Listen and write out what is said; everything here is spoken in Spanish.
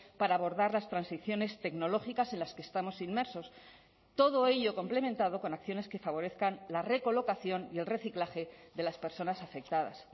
para abordar las transiciones tecnológicas en las que estamos inmersos todo ello complementado con acciones que favorezcan la recolocación y el reciclaje de las personas afectadas